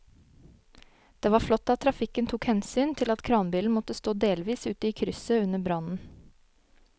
Det var flott at trafikken tok hensyn til at kranbilen måtte stå delvis ute i krysset under brannen.